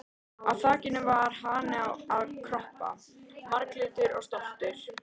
Á á þakinu var hani að kroppa, marglitur og stoltur.